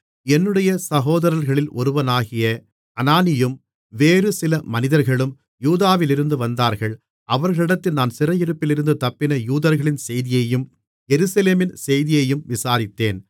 என்னுடைய சகோதரர்களில் ஒருவனாகிய அனானியும் வேறு சில மனிதர்களும் யூதாவிலிருந்து வந்தார்கள் அவர்களிடத்தில் நான் சிறையிருப்பிலிருந்து தப்பின யூதர்களின் செய்தியையும் எருசலேமின் செய்தியையும் விசாரித்தேன்